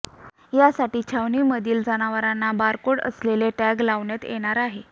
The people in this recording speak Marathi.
यासाठी छावणीमधील जनावरांना बारकोड असलेले टॅग लावण्यात येणार आहेत